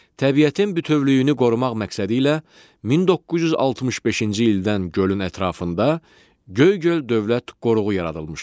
Təbiətin bütövlüyünü qorumaq məqsədi ilə 1965-ci ildən gölün ətrafında Göygöl Dövlət Qoruğu yaradılmışdır.